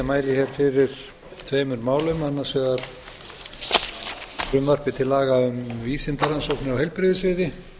mæli hér fyrir tveimur málum annars vegar frumvarpi til laga um vísindarannsóknir á heilbrigðissviði